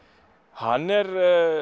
hann er